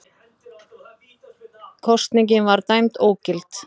Kosningin var dæmd ógild